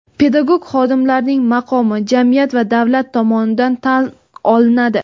Pedagog xodimlarning maqomi jamiyat va davlat tomonidan tan olinadi.